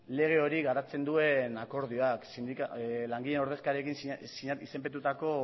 lege hori garatzen duen akordioak langileen ordezkariekin izenpetutako